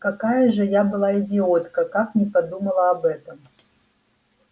какая же я была идиотка как не подумала об этом